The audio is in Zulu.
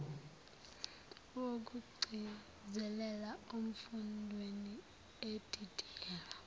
wokugcizelela emfundweni edidiyelwe